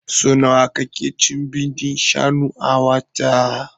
So nawa ka ke cin bindin shanu a wata?